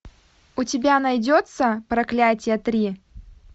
у тебя найдется проклятие три